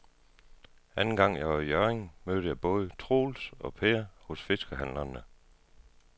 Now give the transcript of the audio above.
Anden gang jeg var i Hjørring, mødte jeg både Troels og Per hos fiskehandlerne.